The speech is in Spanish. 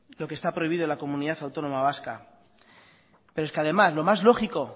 lo que está prohibido en la comunidad autónoma vasca pero es que además lo más lógico